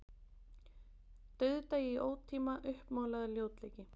Dauðdagi í ótíma, uppmálaður ljótleiki.